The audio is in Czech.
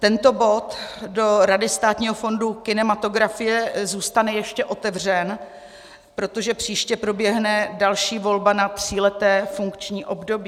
Tento bod do Rady Státního fondu kinematografie zůstane ještě otevřen, protože příště proběhne další volba na tříleté funkční období.